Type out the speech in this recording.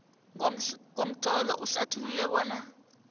ngomtlolo uhlathulule bona